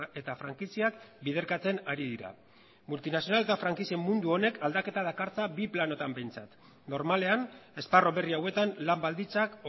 eta frankiziak biderkatzen ari dira multinazionala eta frankizia mundu honek aldaketa dakartza bi planotan behintzat normalen esparru berri hauetan lan baldintzak